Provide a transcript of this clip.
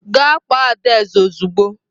Gaa kpọọ Adaeze ozugbo!